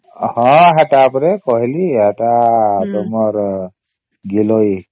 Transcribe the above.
ହଁ ସେଟା ଉପରେ କହିଲି ସେଟା ତୁମର ଗିଲଇ